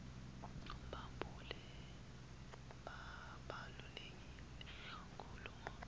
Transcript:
kubaluleke kakhulu ngobe